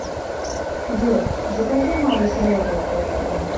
джой закажи малый соленый под кино